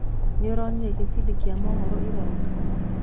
Nĩoronire kĩbindi kia mohoro ira ũtukũ?